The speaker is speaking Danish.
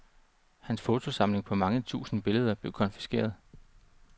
Hans fotosamling på mange tusinde billeder blev konfiskeret.